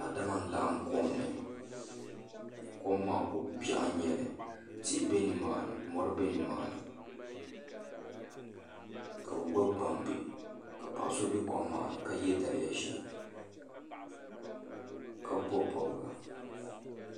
Daadama n laɣam kom ni kom maa ko biɛɣu n nyɛli tihi bɛ nimaani mori bɛ nimaani ka bi gbubi gbambihi ka paɣaso bɛ kom maa ni ka yɛ daliya ʒiɛ ka bob bobga